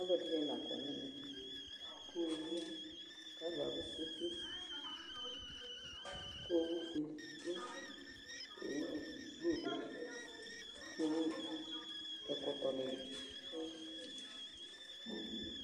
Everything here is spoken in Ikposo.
aloɛdini la kɔ n'ɛmɛ k'owu ya k'alò abu kpekpekpe kò owu fue do kò owu blu do ko ɛkɔtɔ ni do